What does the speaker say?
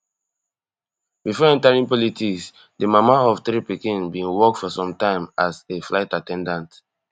before entering politics di mama of three pikin bin work for some time as a flight at ten dant